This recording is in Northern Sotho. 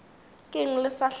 ke eng le sa hlaba